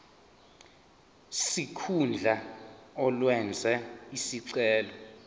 sikhundla owenze isicelo